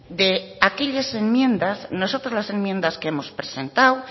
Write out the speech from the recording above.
de aquellas enmiendas nosotros las enmiendas que hemos presentado